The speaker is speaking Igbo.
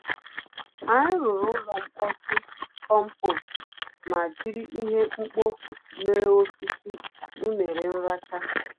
Anyị rụrụ ụlọ mposi compost ma jiri ihe mkpofu mee osisi ụnere nracha